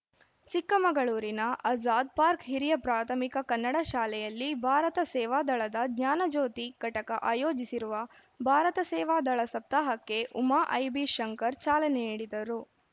ಚಿಕ್ಕಮಗಳೂರಿನ ಆಜಾದ್‌ ಪಾರ್ಕ್ ಹಿರಿಯ ಪ್ರಾಥಮಿಕ ಕನ್ನಡ ಶಾಲೆಯಲ್ಲಿ ಭಾರತ ಸೇವಾದಳದ ಜ್ಞಾನಜ್ಯೋತಿ ಘಟಕ ಅಯೋಜಿಸಿರುವ ಭಾರತ ಸೇವಾದಳ ಸಪ್ತಾಹಕ್ಕೆ ಉಮಾ ಐಬಿ ಶಂಕರ್‌ ಚಾಲನೆ ನೀಡಿದರು